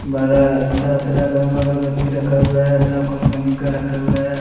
तरह तरह का अगरबत्ती रखा हुआ हैसब कंपनी का रखा हुआ है।